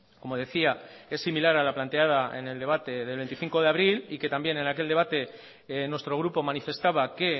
como decía essimilar a la planteada en el debate del veinticinco de abril y que también en aquel debate nuestro grupo manifestaba que